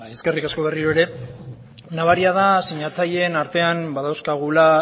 zurea da hitza eskerrik asko berriro ere nabaria da sinatzaileen artean badauzkagula